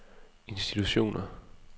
institutioner